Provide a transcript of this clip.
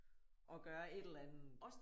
Og gøre et eller andet